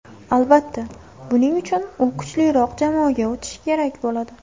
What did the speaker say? Albatta, buning uchun u kuchliroq jamoaga o‘tishi kerak bo‘ladi.